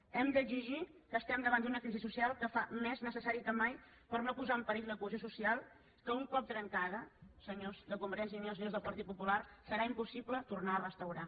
ho hem d’exigir que estem davant d’una crisi social que ho fa més necessari que mai per no posar en perill la cohesió social que un cop trencada senyors de convergència i unió senyors del partit popular serà impossible tornar a restaurar